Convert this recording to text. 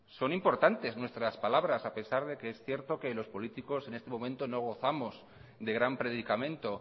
son importantes nuestras palabras a pesar de que es cierto que los políticos en este momento no gozamos de gran predicamento